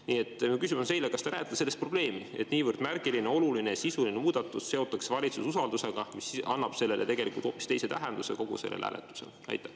Nii et mu küsimus on teile see: kas te näete selles probleemi, et niivõrd märgiline, oluline, sisuline muudatus seotakse valitsuse usaldamisega, mis annab kogu sellele hääletusele tegelikult hoopis teise tähenduse?